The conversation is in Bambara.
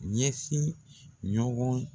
Ɲɛsin ɲɔgɔn